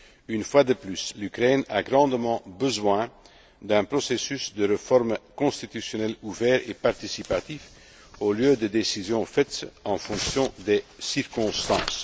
actuelle. Une fois de plus, l'Ukraine a grandement besoin d'un processus de réforme constitutionnelle ouvert et participatif au lieu de décisions prises en fonction des